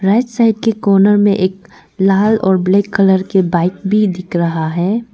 Right side के corner में एक लाल और ब्लैक कलर के बाइक भी दिख रहा है।